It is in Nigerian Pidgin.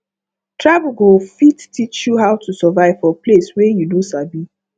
travel go fit teach you how to survive for place wey you no sabi